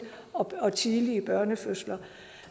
og tidlige fødsler